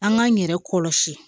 An k'an yɛrɛ kɔlɔsi